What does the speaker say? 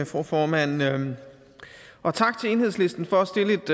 fru formand og tak til enhedslisten for